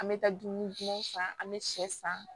An bɛ taa dumuni dumanw san an bɛ sɛ san